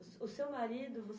O seu marido